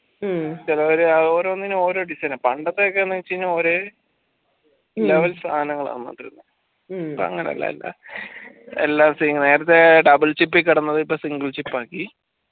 ചിലോർ ഓരോനിന് ഓരോ edition ആ പണ്ടതൊക്കെ എന്ന് വെച്ച് കൈനാൽ ഒരേ level സാനാങ്ങാളാണ് ഇപ്പൊ അങ്ങനെല്ലാല എല്ലാം നേരത്തെ double chip കിടന്നത് single chip ആക്കി